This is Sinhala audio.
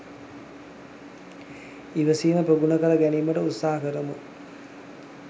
ඉවසීම ප්‍රගුණ කර ගැනීමට උත්සාහ කරමු.